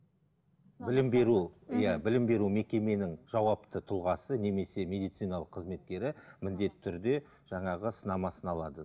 білім беру иә білім беру мекеменің жауапты тұлғасы немесе медициналық қызметкері міндетті түрде жаңағы сынамасын алады